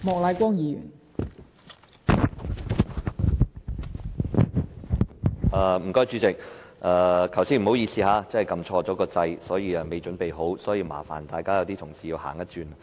代理主席，剛才不好意思，按錯"發言按鈕"，我尚未準備好，所以麻煩了同事要多走一趟。